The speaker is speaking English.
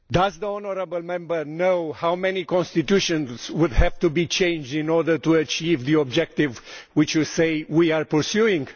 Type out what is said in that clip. Does the honourable Member know how many constitutions would have to be changed in order to achieve the objective which he says we are pursuing?